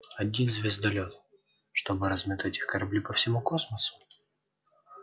один звездолёт чтобы разметать их корабли по всему космосу